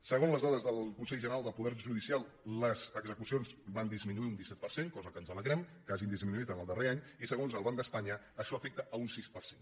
segons les dades del consell general del poder judicial les execucions van dis·minuir un disset per cent cosa de la quals ens alegrem que hagin disminuït en el darrer anys i segons el banc d’espanya això afecta un sis per cent